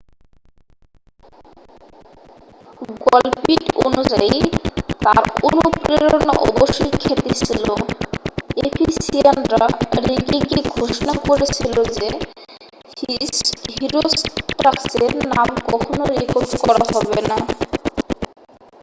গল্প্টি অনুযায়ী তাঁর অনুপ্রেরণা অবশ্যই খ্যাতি ছিল এফিসিয়ানরা রেগে গিয়ে ঘোষণা করেছিল যে হিরোষ্ট্রাটাসের নাম কখনও রেকর্ড করা হবে না